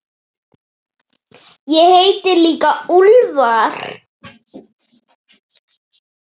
Ég heiti líka Úlfar.